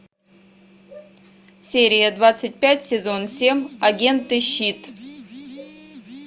серия двадцать пять сезон семь агенты щит